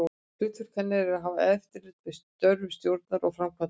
Hlutverk hennar er að hafa eftirlit með störfum stjórnar og framkvæmdastjóra.